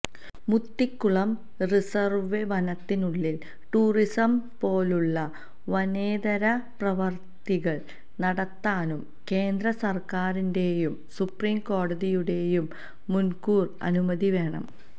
Muthikulam reserve വനത്തിനുള്ളില് tourism പോലുള്ള വനേതര പ്രവര്ത്തികള് നടത്താനും കേന്ദ്ര സര്ക്കാരിന്റെയും സുപ്രീം കോടതിയുടെയും മുന്കൂര് അനുമതി വേണം